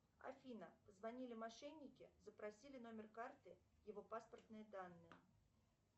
афина позвонили мошенники запросили номер карты его паспортные данные